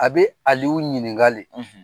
A be alu ɲininka de.